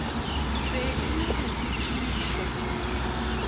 be e le go botšišwa